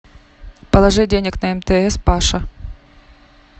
положи денег на мтс паша